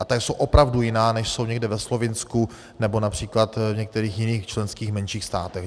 A ta jsou opravdu jiná, než jsou někde ve Slovinsku nebo například v některých jiných členských menších státech.